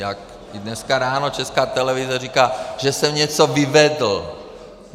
Jak i dneska ráno Česká televize říká, že jsem něco vyvedl.